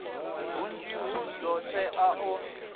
hunzhi hu do todea u